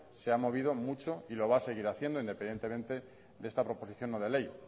se ha movido mucho y lo va a seguir haciendo independientemente de esta proposición no de ley